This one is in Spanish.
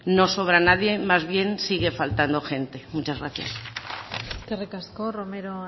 no sobra nadie más bien sigue faltando gente muchas gracias eskerrik asko romero